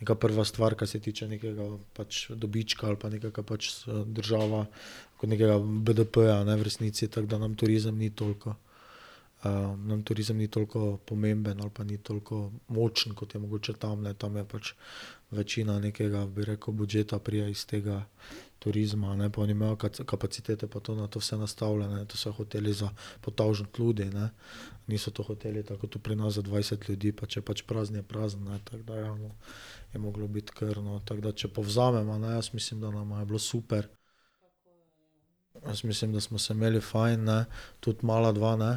neka prva stvar, kar se tiče nekega pač dobička ali pa nekega pač država, ko nekega BDP-ja, ne, v resnici, tako da nam turizem ni toliko, nam turizem ni toliko pomemben ali pa ni toliko močen, kot je mogoče tam, ne, tam je pač večina nekega, bi rekel, budžeta pride iz tega turizma, ne, pa oni imajo kapacitete pa to na to vse nastavljene, to so hoteli za po tavžent ljudi, ne. Niso to hoteli, tako kot tu pri nas, za dvajset ljudi, pa če je pač prazna, je prazna, ne, tako da ja, no, je moglo biti kar, no, tako da, če povzameva, ne, jaz mislim, da nama je bilo super. Jaz mislim, da smo se imeli fajn, ne, tudi mala dva ne?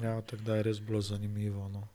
Ja, tako da je res bilo zanimivo, no.